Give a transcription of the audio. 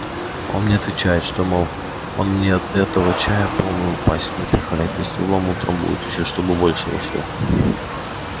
а он мне отвечает что мол он мне этого чая полную пасть напихает и стволом утрамбует ещё чтобы больше вошло